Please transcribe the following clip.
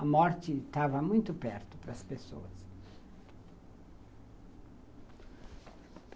A morte estava muito perto para as pessoas.